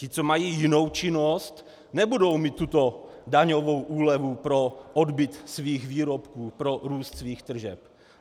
Ti, co mají jinou činnost, nebudou mít tuto daňovou úlevu pro odbyt svých výrobků, pro růst svých tržeb.